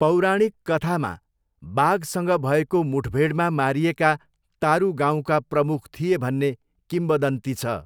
पौराणिक कथामा बाघसँग भएको मुठभेडमा मारिएका तारु गाउँका प्रमुख थिए भन्ने किंवदन्ती छ।